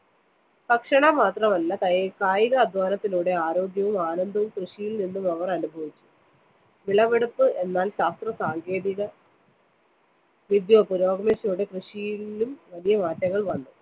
ഭക്ഷണം മാത്രമല്ല, കായികാധ്വാനത്തിലൂടെ ആരോഗ്യവും ആനന്ദവും കൃഷിയില്‍നിന്നും അവര്‍ അനുഭവിച്ചു. വിളവെടുപ്പ് എന്നാല്‍ ശാസ്ത്രസാങ്കേതിക വിദ്യ പുരോഗമിച്ചതോടെ കൃഷിയിലും വലിയ മാറ്റങ്ങള്‍ വന്നു.